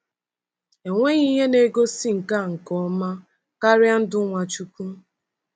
Enweghị ihe na-egosi nke a nke ọma karịa ndụ Nwachukwu.